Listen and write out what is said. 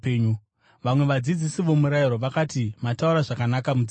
Vamwe vadzidzisi vomurayiro vakati, “Mataura zvakanaka, mudzidzisi!”